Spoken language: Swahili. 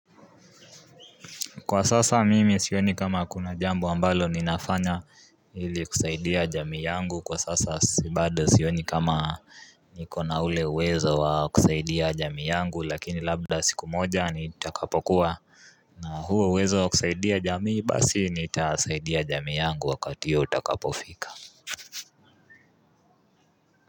Kwa sasa mimi sioni kama kuna jambo ambalo ninafanya ili kusaidia jamii yangu kwa sasa sibada sioni kama nikona ule uwezo wa kusaidia jamii yangu lakini labda siku moja nitakapokuwa na huo uwezo wa kusaidia jamii basi nitasaidia jamii yangu wakati huo utakapofika.